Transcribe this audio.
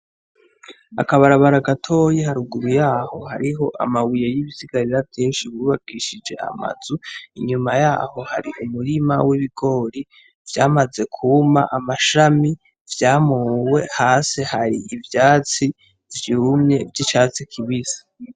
Akabarabara gatoyi haruguru yaho hariho amabuye y'ibisigari vyinshi bubakishije amazu ,inyuma yaho hari umurima w'ibigori vyamaze kwuma amashami, vyamowe. Hasi har'ivyatsi vy'umye vy'icatsi kibisi.